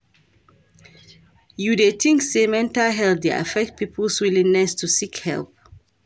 You dey think say mental health dey affect people's willingness to seek help?